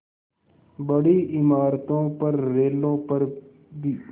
बड़ी इमारतों पर रेलों पर भी